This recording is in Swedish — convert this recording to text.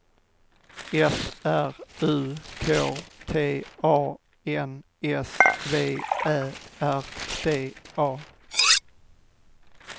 F R U K T A N S V Ä R D A